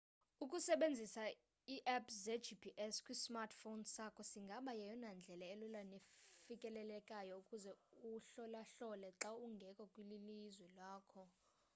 ukusebenzisa i apps ze gps kwisamrtphone sakho singaba yeyona ndlela elula nefikelelekayo ukuze uhlolahlole xa ungekho kwilizwe lakho